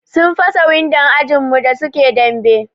Sun fasa windon ajin mu da suke dambe.